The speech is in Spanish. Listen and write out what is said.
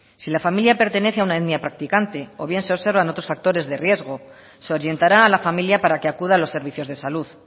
si la familia pertenece a una etnia prácticamente o bien se observa otros factores de riesgo se orientará a la familia para que acuda a los servicios de salud